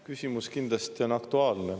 Küsimus kindlasti on aktuaalne.